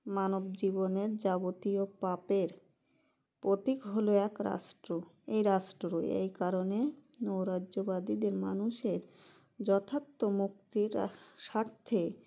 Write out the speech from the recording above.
মানবজীবনের যাবতীয় পাপের প্রতীক হলো এক রাষ্ট্র এই রাষ্ট্র এইকারণে নৈরাজ্যবাদীদের মানুষের যথার্থ মুক্তির স্বার্থে